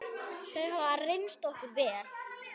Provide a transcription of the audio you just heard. Þau hafa reynst okkur vel.